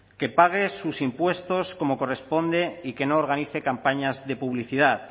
que pague sus impuestos como corresponde y que no organice campañas de publicidad